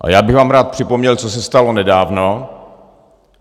A já bych vám rád připomněl, co se stalo nedávno.